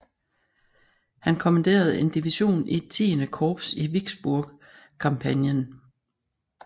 Han kommanderede en division i XIII Korps i Vicksburg kampagnen